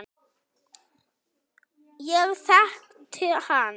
Ég þekkti hann